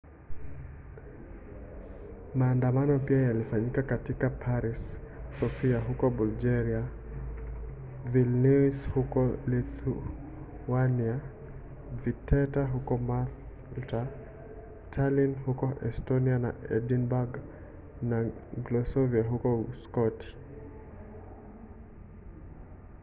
maandamano pia yalifanyika katika paris sofia huko bulgaria vilnius huko lithuania valetta huko malta tallinn huko estonia na edinburgh na glasgow huko uskoti